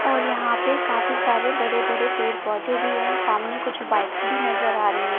और यहां पे काफी सारे बड़े बड़े पेड़ पौधे भी हैं सामने कुछ बाइक्स भी नजर आ रही हैं।